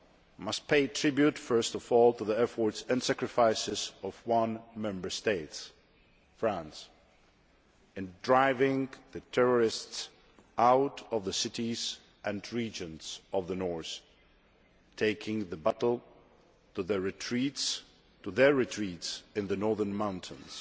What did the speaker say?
I must pay tribute first of all to the efforts and sacrifices of one Member State, France, in driving the terrorists out of the cities and regions of the north, taking the battle to their retreats in the northern mountains.